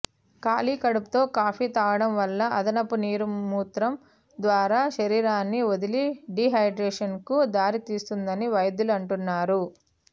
ఖాళీ కడుపుతో కాఫీ తాగడం వల్ల అదనపు నీరు మూత్రం ద్వారా శరీరాన్ని వదిలి డీహైడ్రేషన్కు దారితీస్తుందని వైద్యులు అంటున్నారు